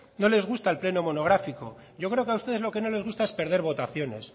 no les gusta el pleno monográfico yo creo que a ustedes lo que no les gusta es perder votaciones